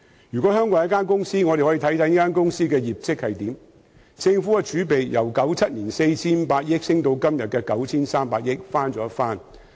假設香港是一間公司，讓我們看看這間公司的業績如何：政府儲備由1997年的 4,500 億元上升至今天的 9,300 億元，翻了一番。